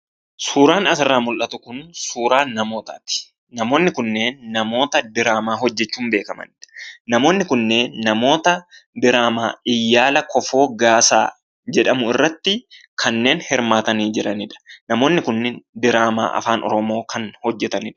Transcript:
Suuraan asirraa mul'atu kun suuraa namootaati. namoonni kunneen namoota diraamma hojjachuu danda'anidha. Namoonni kunneen namoota diraammaa "yaala kofoo gaasaa" jedhamu irratti kanneen hirmaatanii jiranidha. Namoonni kunniin diraammaa Afaan Oromoo kan hojjatanidha.